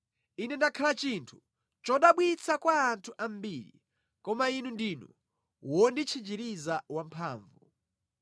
Ine ndakhala chinthu chodabwitsa kwa anthu ambiri koma Inu ndinu wonditchinjiriza wamphamvu.